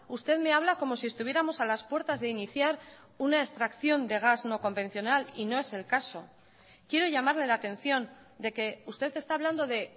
usted me habla como si estuviéramos a las puertas de iniciar una extracción de gas no convencional y no es el caso quiero llamarle la atención de que usted está hablando de